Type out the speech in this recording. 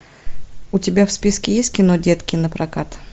у тебя в списке есть кино детки напрокат